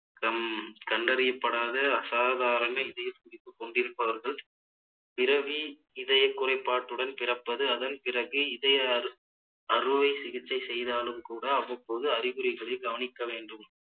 க்கம் கண்டறியப்படாத அசாதாரண இதயத்துடிப்பு கொண்டிருப்பவர்கள் பிறவி இதய குறைபாட்டுடன் பிறப்பது அதன் பிறகு இதய அறு~ அறுவை சிகிச்சை செய்தாலும் கூட அவ்வப்போது அறிகுறிகளை கவனிக்க வேண்டும்